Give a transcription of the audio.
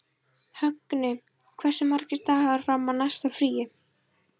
Högni, hversu margir dagar fram að næsta fríi?